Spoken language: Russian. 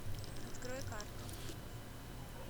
открой карту